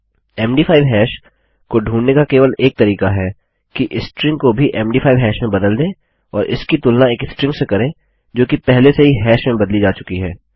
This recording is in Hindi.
मद5 हैश को ढूँढने का केवल एक तरीका है कि स्ट्रिंग को भी मद5 हैश में बदल दें और इसकी तुलना एक स्ट्रिंग से करें जो कि पहले से ही हैश में बदली जा चुकी है